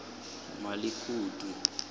emalikutu